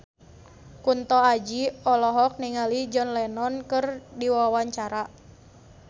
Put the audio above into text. Kunto Aji olohok ningali John Lennon keur diwawancara